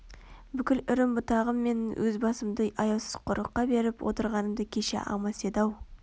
бүкіл үрім-бұтағым мен өз басымды аяусыз қорлыққа беріп отырғанымды кеше алмас еді-ау